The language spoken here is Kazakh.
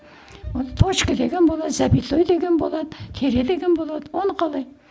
ол точка деген болады запятой деген болады тире деген болады оны қалай